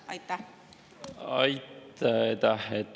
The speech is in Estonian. Aitäh!